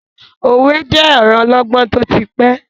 Òwe je ọ̀rọ ọlọgbọ́n tó ti pẹ́.